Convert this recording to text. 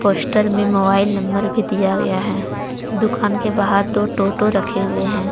Poster में mobile number भी दिया गया है दुकान के बाहर दो टोटो रखे हुए हैं।